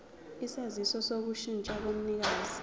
isaziso sokushintsha komnikazi